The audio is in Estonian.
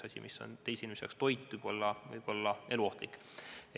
Asi, mis ühe inimese jaoks on toit, võib teise jaoks olla eluohtlik.